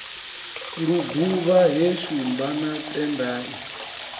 luguvha he shumba na tendai